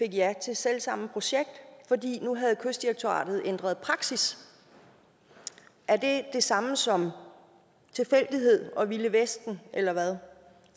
ja til selv samme projekt fordi kystdirektoratet ændret praksis er det det samme som tilfældighed og det vilde vesten eller hvad